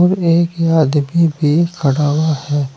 एक आदमी भी खड़ा हुआ है।